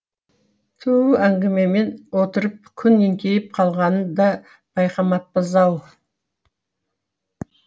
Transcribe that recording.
түу әңгімемен отырып күн еңкейіп қалғанын да байқамаппыз ау